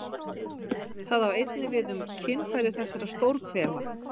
Það á einnig við um kynfæri þessar stórhvela.